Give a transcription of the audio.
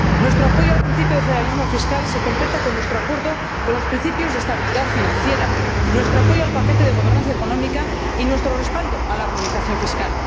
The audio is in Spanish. Nuestro apoyo al principio de federalismo fiscal se completa con nuestro acuerdo con los principios de estabilidad financiera, nuestro apoyo al paquete de gobernanza económica y nuestro respaldo a la armonización fiscal.